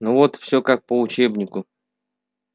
ну вот всё как по учебнику